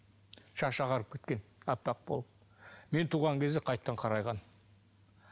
шашы ағарып кеткен аппақ болып мен туған кезде қайтадан қарайған